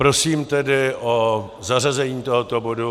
Prosím tedy o zařazení tohoto bodu.